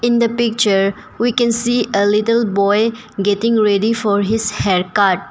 In the picture we can see a little boy getting ready for his haircut.